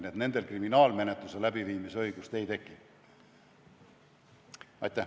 Nkii et nendel endal kriminaalmenetluse läbiviimise õigust ei teki.